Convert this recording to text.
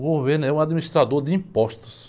O governo é um administrador de impostos.